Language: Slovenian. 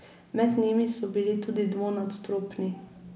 Med njimi so bili tudi dvonadstropni.